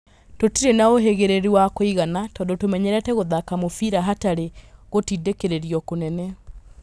Tũtirĩ na ũhĩ gĩ rĩ ru wa kũigana tondũ tũmenyerete gũthaka mũbira hatarĩ gũtindĩ kĩ rĩ rio kũnene.